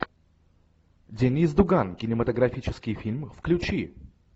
деннис дуган кинематографический фильм включи